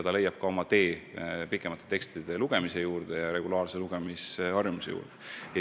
Nii leiab ta ehk tee ka pikemate tekstide juurde ja regulaarse lugemisharjumuse juurde.